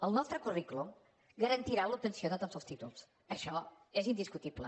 el nostre currículum garantirà l’obtenció de tots els títols això és indiscutible